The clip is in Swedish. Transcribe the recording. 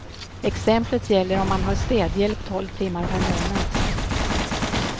Exemplet gäller om man har städhjälp tolv timmar per månad.